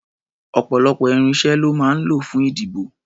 Ọ̀pọ̀lọpọ̀ irinṣẹ́ lọ́ máa ń lò fún ètò-ìdìbò.